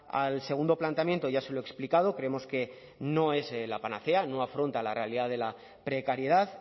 al segundo planteamiento ya se lo he explicado creemos que no es la panacea no afronta la realidad de la precariedad